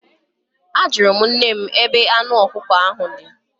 Ajụrụ m nne m ebe anụ ọkụkọ ahụ dị.